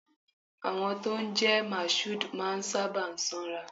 Àwọn tó ń jẹ́ Mashood máa ń sábà sanra.